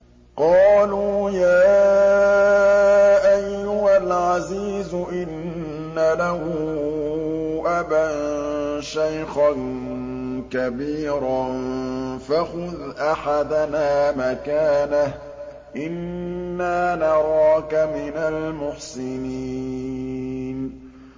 قَالُوا يَا أَيُّهَا الْعَزِيزُ إِنَّ لَهُ أَبًا شَيْخًا كَبِيرًا فَخُذْ أَحَدَنَا مَكَانَهُ ۖ إِنَّا نَرَاكَ مِنَ الْمُحْسِنِينَ